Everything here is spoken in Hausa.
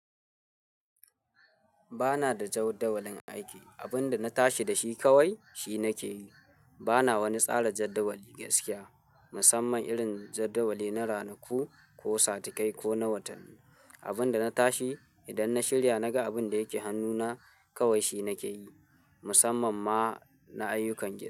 Ba na da jawdawalin aiki. Abin da na tashi da shi kawai, shi na ke yi. Ba na wani tsara jaddawali gaskiya, musamman irin jaddawali na ranaku ko satikai ko na watanni. Abin da na tashi, idan na shirya naga abin da yake hannuna, kawai shi nake yi. Musamman ma na ayyukan gida.